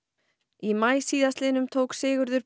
í maí síðastliðnum tók Sigurður